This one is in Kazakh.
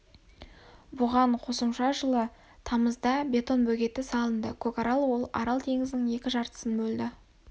бұған қосымша жылы тамызда бетон бөгеті салынды көкарал ол арал теңізінің екі жартысын бөлді